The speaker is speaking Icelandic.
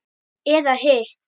Eða hitt?